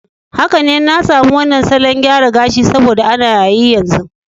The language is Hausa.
Haka ne, na zabi wannan salon gyara gashi saboda ana yayi yanzu.